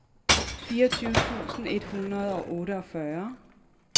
fireogtyve tusind et hundrede og otteogfyrre